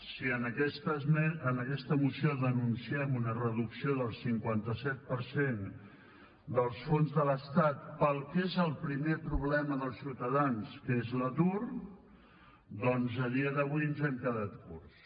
si en aquesta moció denunciem una reducció del cinquanta set per cent dels fons de l’estat per al que és el primer problema dels ciutadans que és l’atur doncs a dia d’avui ens hem quedat curts